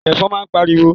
Ẹ̀fọn naa ń pariwo